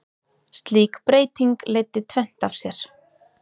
Slík breyting leiddi tvennt af sér.